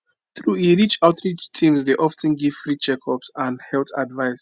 true e outreach teams dey of ten give free checkups and health advice